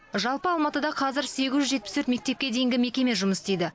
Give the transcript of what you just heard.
жалпы алматыда қазір сегіз жүз жетпіс төрт мектепке дейінгі мекеме жұмыс істейді